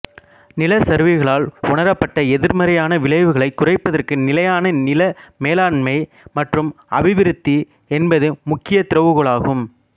நிலச்சரிவுகளால் உணரப்பட்ட எதிர்மறையான விளைவுகளைக் குறைப்பதற்கு நிலையான நில மேலாண்மை மற்றும் அபிவிருத்தி என்பது முக்கியமான திறவுகோலாகும்